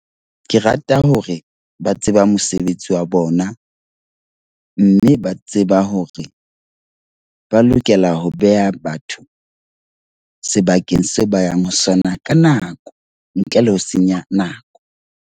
Ke rata hore ba tseba mosebetsi wa bona, mme ba tseba hore ba lokela ho beha batho sebakeng seo ba yang ho sona ka nako, ntle le ho senya nako.